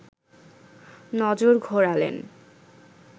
নজর ঘোরালেন